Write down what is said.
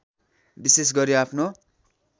विशेष गरी आफ्नो